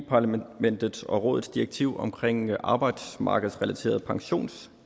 parlamentets og rådets direktiv omkring arbejdsmarkedsrelaterede pensionskassers